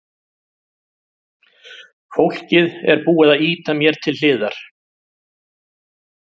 Fólkið er búið að ýta mér til hliðar.